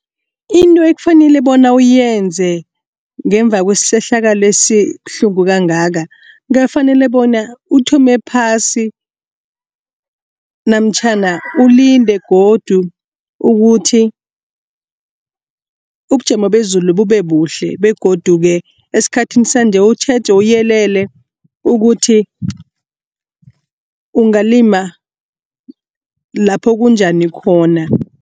Into ekufanele bona uyenze ngemva kwesehlakalo esibuhlungu kangaka. Ungafanele bona uthome phasi namtjhana ulinde godu ukuthi ubujamo bezulu bube buhle begodu esikhathini sanje utjheje uyelele ukuthi ungalima lapho kunjani khona.